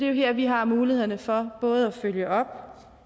jo her vi har mulighederne for både at følge op